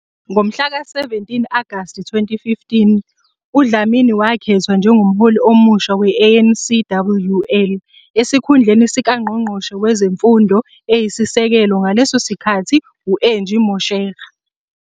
Ngomhlaka 7 Agasti 2015, uDlamini wakhethwa njengomholi omusha we-ANCWL, esikhundleni sikaNgqongqoshe Wezemfundo Eyisisekelo ngaleso sikhathi, u-Angie Motshekga.